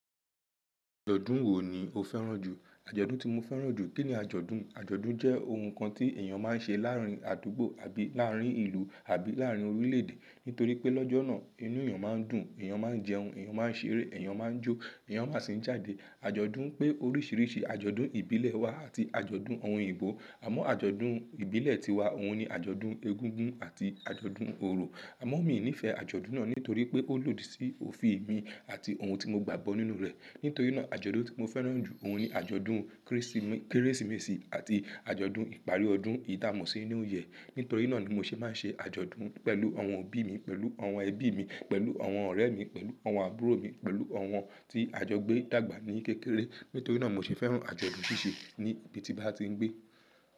Ọdun wo ni o fẹràn jù? Ajọdun ti mo fẹràn jù, kini ajọdun? Ajọdun jẹ ohun kan ti èyàn máa n ṣe láàrin àdúgbò àbí láàrin ìlú àbí láàrin orílè-èdè. Nítorí pé lọ́jọ́ náà, inú èyàn máa n dùn, èyàn máa n jẹun, èyàn máa n ṣeré, èyàn máa n jó, èyàn máa sì n jáde. Ajọdun pé oríṣiríṣi ajọdun ìbílẹ̀ wà àti ajọdun ohun oyibo. Àmọ́ ajọdun ìbílẹ̀ tiwa, òun ni ajọdun Egúngún àti ajọdun Oro. Àmọ́ mi nífẹ̀ẹ́ ajọdun náà nítorí pé ó lòdì sí òfin mi àti ohun tí mo gbàgbó nínú rẹ̀. Nítorí náà ajọdun tí mo fẹràn jù, òun ni ajọdun Kérésìme- Kérésìmesì àti ajọdun ìparí ọdún. Èyí tá mó sí New Year. Nítorí náà ni mo ṣe máa n ṣe ajọdun pẹ̀lú àwọn òbí mi, pẹ̀lú àwọn ẹbí mi, pẹ̀lú àwọn ọ̀rẹ́ mi, pẹ̀lú àwọn àbúrò mi, pẹ̀lú àwọn tí ajọgbé ń dàgbà ní kékeré. Nítorí náà mo ṣe fẹràn ajọdun ṣíṣe ní ibi tí bá ti ń gbé.